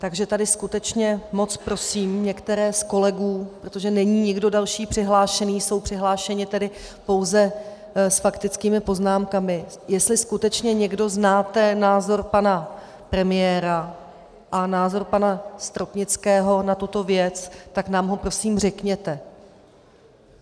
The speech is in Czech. Takže tady skutečně moc prosím některé z kolegů - protože není nikdo další přihlášený, jsou přihlášeni tedy pouze s faktickými poznámkami - jestli skutečně někdo znáte názor pana premiéra a názor pana Stropnického na tuto věc, tak nám ho prosím řekněte.